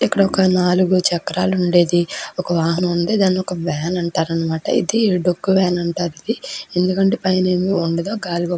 ఇక్కడ నాల్గు చక్రాలు ఉండేది. ఒక వాహన ఉంది. దానికి వాన్ అంటారు అనమాట. ఇది డొక్కా వాన్ అంటారు. ఇది ఎందుకంటె --